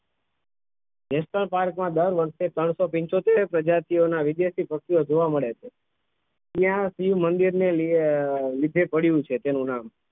national park માં દર વર્ષ ત્રણસો પીચોતેર પ્રજાતિઓના વિદેશી પક્ષી ઑ જોવા મળે છે ત્યાં શિવમંદિર ને લી લીધે પડ્યું છે તેનું નામ